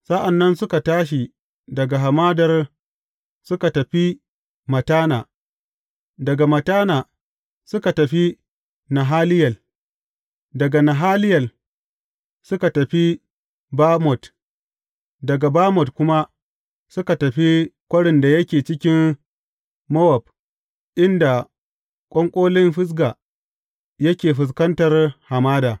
Sa’an nan suka tashi daga hamadar, suka tafi Mattana, daga Mattana, suka tafi Nahaliyel, daga Nahaliyel, suka tafi Bamot, daga Bamot kuma suka tafi kwarin da yake cikin Mowab inda ƙwanƙolin Fisga yake fuskantar hamada.